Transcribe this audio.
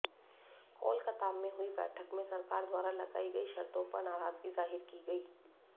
कोलकाता में हुई बैठक में सरकार द्वारा लगाई गई शर्तों पर नाराजगी जाहिर की गई